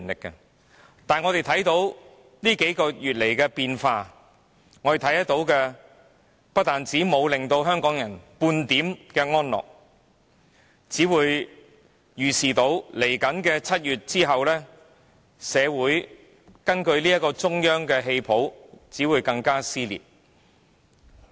不過，過去數個月的變化不但無法令香港人得到半點安樂，更令他們預見在7月後，社會根據中央的戲譜只會更為撕裂。